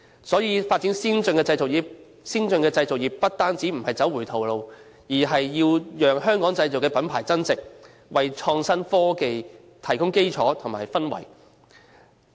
所以，發展先進的製造業不但不是走回頭路，而且更是要讓"香港製造"的品牌增值，為創新科技提供基礎和氛圍。